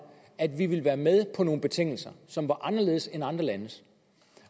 at vi ville være med på nogle betingelser som var anderledes end andre landes